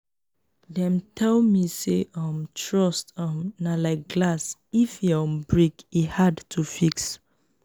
dem tell me sey um trust um na like glass if e um break e hard to fix.